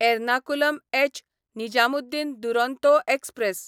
Ernakulam एच.निजामुद्दीन Duronto express